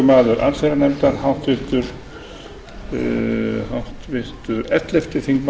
virðulegi forseti ég mæli hér fyrir nefndaráliti um frumvarp til